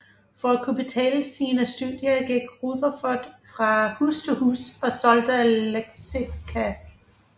For at kunne betale sine studier gik Rutherford fra hus til hus og solgte leksika